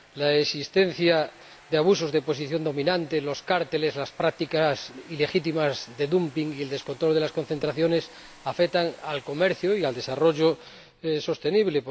La existencia de abusos de posición dominante, los cárteles, las prácticas ilegítimas de dumping y el descontrol de las concentraciones afectan al comercio y al desarrollo sostenible.